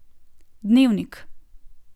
Dnevnik!